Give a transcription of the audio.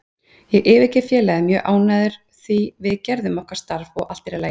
Ég yfirgef félagið mjög ánægður því við gerðum okkar starf og allt er í lagi.